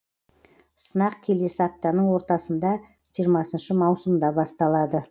сынақ келесі аптаның ортасында жиырмасыншы маусымда басталады